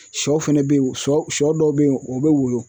Sɔ fɛnɛ be ye sɔ sɔ dɔw be ye o be woyo